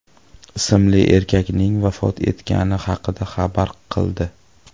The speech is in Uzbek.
ismli erkakning vafot etgani haqida xabar qildi .